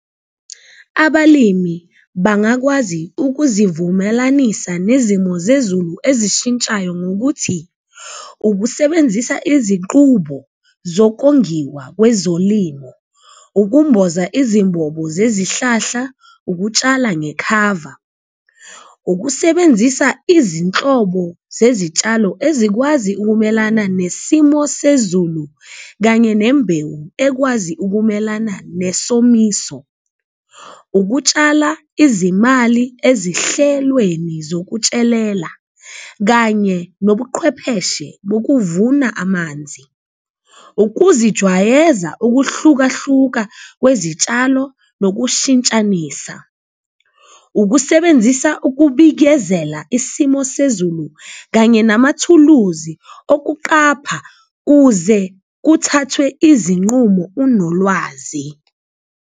Abalimi bangakwazi ukuzivumelanisa nezimo zezulu ezishintshayo ngokuthi ukusebenzisa izinqubo zokongiwa kwezolimo, ukumboza izimbobo zezihlahla, ukutshala ngekhava, ukusebenzisa izinhlobo zezitshalo ezikwazi ukumelana nesimo sezulu kanye nembewu ekwazi ukumelana nesomiso. Ukutshala izimali ezihlelweni zokutshelela kanye nobuqhwepheshe bokuvuna amanzi, ukuzijwayeza ukuhlukahluka kwezitshalo nokushintshanisa, ukusebenzisa ukubikezela isimo sezulu kanye namathuluzi okuqapha uze kuthathwe izinqumo unolwazi.